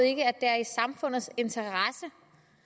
ikke at det er i samfundets interesse